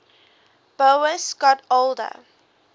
boas got older